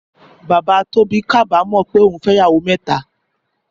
Bàbá Tóbí kábàámọ̀ pé ó fẹ́ ìyàwó mẹ́ta.